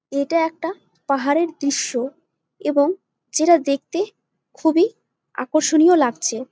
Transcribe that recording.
এটা একটা পাহাড়ের দৃশ্য এবং যেটা দেখতে খুবই আকর্ষণীয় লাগছে।